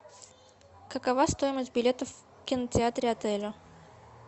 какова стоимость билетов в кинотеатре отеля